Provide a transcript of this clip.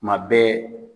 Kuma bɛɛ